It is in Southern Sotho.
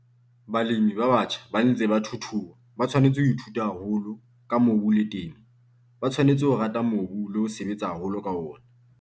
Balemi ba batjha ba ntseng ba thuthuha ba tshwanetse ho ithuta haholo ka mobu le temo, ba tshwanetse ho rata mobu le ho sebetsa haholo ka ona.